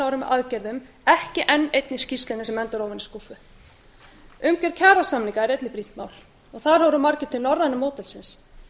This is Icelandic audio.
með aðgerðum ekki enn einni skýrslunni sem endar ofan í skúffu umgjörð kjarasamninga er einnig brýnt mál þar horfa margir til norræna módelsins